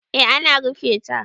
eh ana rufe ta